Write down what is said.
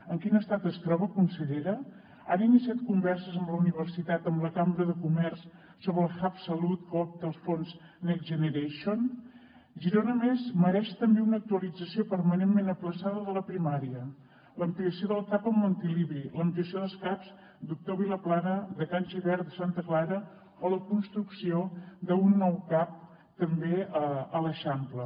en quin estat es troba consellera han iniciat converses amb la universitat amb la cambra de comerç sobre el hubque opta als fons next generation girona a més mereix també una actualització permanentment ajornada de la primària l’ampliació del cap montilivi l’ampliació dels caps doctor vilaplana de can gibert de santa clara o la construcció d’un nou cap també a l’eixample